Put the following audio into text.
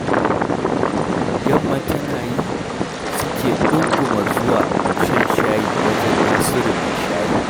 Yamma tana yi, suke ɗunguma zuwa shan shayi wajen Nasiru mai shayi